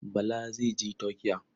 Bala zai je Turkiya.